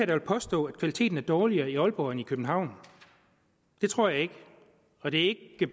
vil påstå at kvaliteten er dårligere i aalborg end i københavn det tror jeg ikke og det er